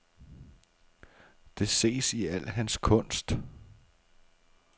Det ses i al hans kunst.